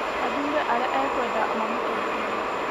athuure arĩa ekwenda mamũtongorie